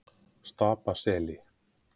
Stapaseli